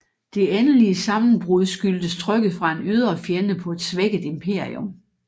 Det endelige sammenbrud skyldtes trykket fra en ydre fjende på et svækket imperium